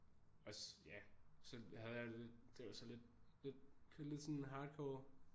Også ja så havde jeg det var så lidt lidt kørte lidt sådan hardcore